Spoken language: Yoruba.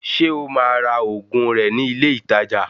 Ṣé o máa ra òògùn rẹ̀ ní ilé ìtajà?